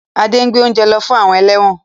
Ade ngbé ounje ló fún àwọn eléwòn